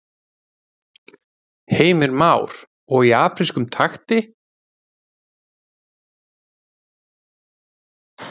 Heimir Már: Og í afrískum takti?